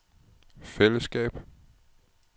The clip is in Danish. fællesskab